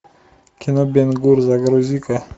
кино бен гур загрузи ка